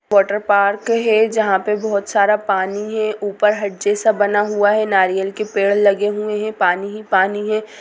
Water park है जहां पे बहुत सारा पानी हैं ऊपर हट जैसा बना हुआ है नारियल के पेड़ लगे हुए है पानी ही पानी है।